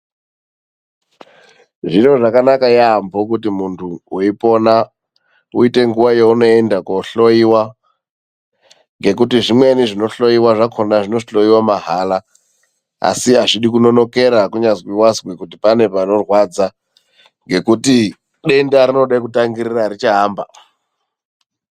Zviro zvakanaka yaamho kuti mundu weipona uite nguva yeunoenda koohloiwa, ngekuti zvimweni zvinohloiwa zvakona zvinohloiwa mahala, asi azvidi kunonokera kunyazi wazwa kuti pane panorwadza, ngekuti denda rinoda kutangirira richaamba .